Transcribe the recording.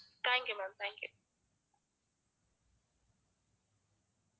thank you ma'am thank you